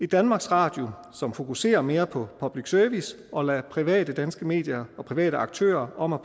danmarks radio som fokuserer mere på public service og lader private danske medier og private aktører om at